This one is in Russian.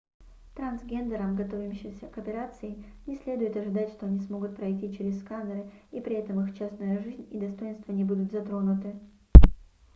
трансгендерам готовящимся к операции не следует ожидать что они смогут пройти через сканеры и при этом их частная жизнь и достоинство не будут затронуты